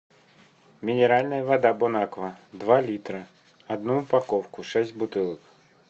минеральная вода бонаква два литра одну упаковку шесть бутылок